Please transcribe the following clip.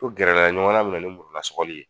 Ko gɛrɛla ɲɔgɔnna be na ni murula sɔgɔli ye.